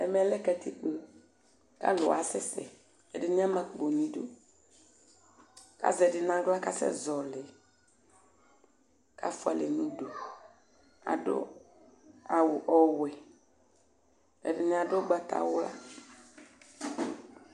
Ɛmɛlɛ katikpo kʋ alʋ asɛsɛ ɛdini ama akpo nʋ idʋ kʋ azɛ ɛdi nʋ aɣla kʋ asɛzɔli kʋ afʋalɛ nʋ ʋdʋ adʋ awʋ ɔwɛ ɛdini adʋ ʋgbatawla